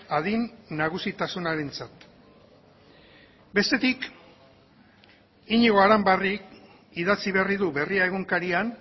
adin nagusitasunarentzat bestetik iñigo aranbarrik idatzi berri du berria egunkarian